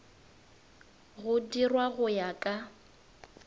go dirwa go ya ka